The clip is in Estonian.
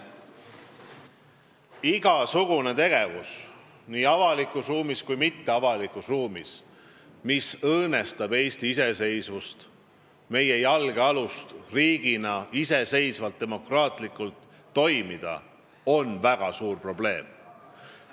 Igasugune tegevus nii avalikus kui ka mitteavalikus ruumis, mis õõnestab Eesti iseseisvust, meie jalgealust riigina iseseisvalt ja demokraatlikult toimida, on väga suur probleem.